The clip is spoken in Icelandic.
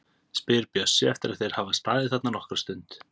spyr Bjössi eftir að þeir hafa staðið þarna nokkra stund.